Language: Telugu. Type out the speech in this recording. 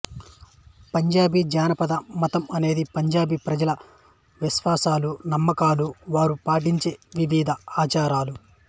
పంజాబీ జానపద మతం అనేది పంజాబీ ప్రజల విశ్వాసాలు నమ్మకాలు వారు పాటించే వివిధ ఆచారాలు